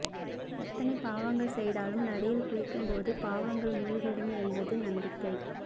எத்தனை பாவங்கள் செய்தாலும் நதியில் குளிக்கும்போது பாவங்கள் மூழ்கிவிடும் என்பது நம்பிக்கை